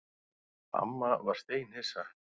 Amma var steinhissa.